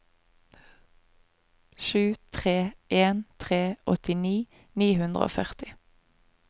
sju tre en tre åttini ni hundre og førti